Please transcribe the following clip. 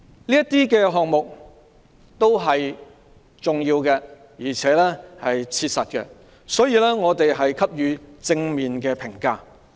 上述項目是重要及切實的，我們給予正面評價。